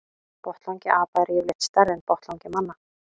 Botnlangi apa er yfirleitt stærri en botnlangi manna.